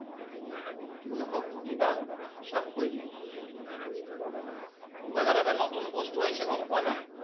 তুমি অকল সুধিবা, সব কৈ দিব Google ত এটা নতুন বস্তু আহিছে গম পোৱা নে?